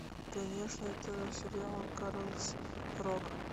конечно это сериал карлс рок